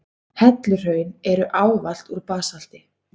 Helluhraun eru ávallt úr basalti.